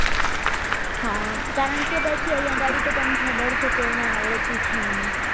આ કારણકે પછી અહીંયા ઘડી તો તને ખબર છે કોઈને આવડતી છે ને